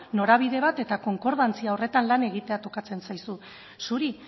norabide bat eta konkordantzia horretan lan egitea tokatzen zaizu zuri